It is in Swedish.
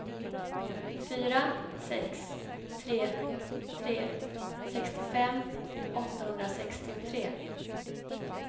fyra sex tre tre sextiofem åttahundrasextiotre